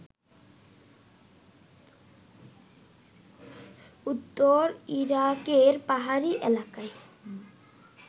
উত্তর ইরাকের পাহাড়ি এলাকায়